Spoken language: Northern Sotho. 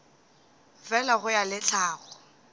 fela go ya le tlhago